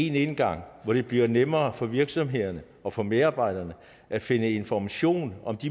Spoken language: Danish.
en indgang hvor det bliver nemmere for virksomhederne og for medarbejderne at finde information om